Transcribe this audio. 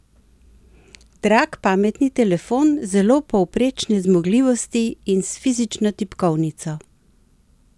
Drag pametni telefon zelo povprečne zmogljivosti in s fizično tipkovnico?